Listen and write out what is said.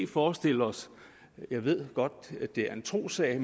forestille os jeg ved godt det er en trossag